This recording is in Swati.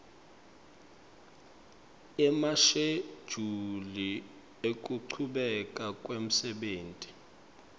emashejuli ekuchubeka kwemsebenti